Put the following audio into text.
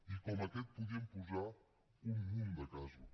i com aquest podríem posar un munt de casos